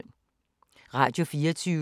Radio24syv